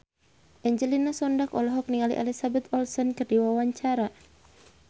Angelina Sondakh olohok ningali Elizabeth Olsen keur diwawancara